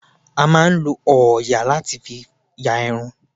A máà ń lọ òòyà láti fi ya irun.